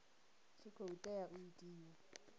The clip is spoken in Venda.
tshi khou tea u itiwa